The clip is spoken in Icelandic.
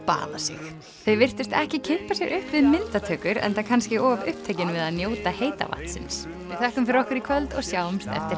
baða sig þau virtust ekki kippa sér upp við myndatökur enda kannski of upptekin við að njóta heita vatnsins við þökkum fyrir okkur í kvöld og sjáumst eftir